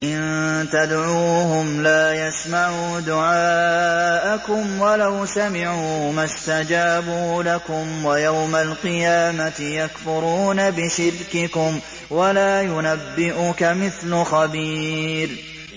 إِن تَدْعُوهُمْ لَا يَسْمَعُوا دُعَاءَكُمْ وَلَوْ سَمِعُوا مَا اسْتَجَابُوا لَكُمْ ۖ وَيَوْمَ الْقِيَامَةِ يَكْفُرُونَ بِشِرْكِكُمْ ۚ وَلَا يُنَبِّئُكَ مِثْلُ خَبِيرٍ